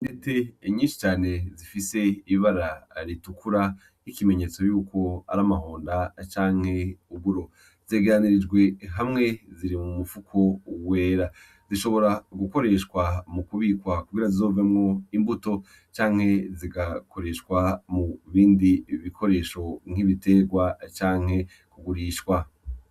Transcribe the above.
Intete nyinshi cane zifise ibara ritukura nk'ikimenyetso yuko ari amahonda canke uburo zegeranijwe hamwe ziri mu mufuko wera zishobora gukoreshwa mu kubikwa kugira zizovemwo imbuto canke zigakoreshwa mu bindi bikoresho nk' ibiterwa canke kugurishwa.